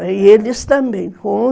E eles também, com